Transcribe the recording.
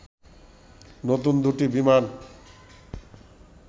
নতুন দুটি বিমান